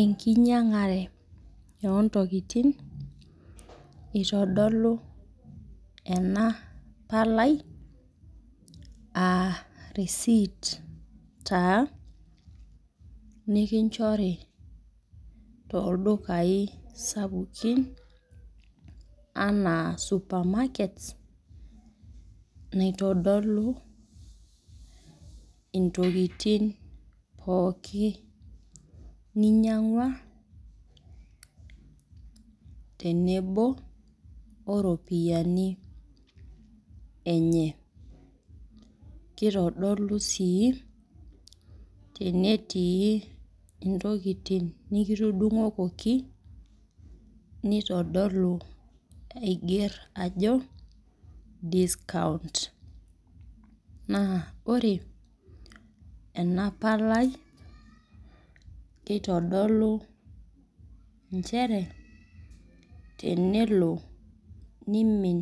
Enkinyang'are ontokiting itodolu ena palai, ah risiit taa nikinchori toldukai sapukin, anaa supermarket, naitodolu intokiting pooki ninyang'ua tenebo oropiyiani enye. Kitodolu si tenetii intokiting nikitudung'okoki, nitodolu aiger ajo, discount. Naa ore ena palai, nitodolu njere, tenelo nimin